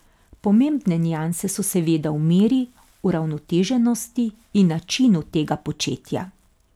Pomembne nianse so seveda v meri, uravnoteženosti in načinu tega početja.